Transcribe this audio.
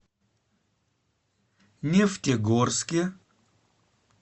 нефтегорске